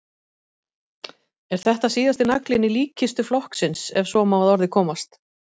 Er þetta síðasti naglinn í líkkistu flokksins ef svo má að orði komast?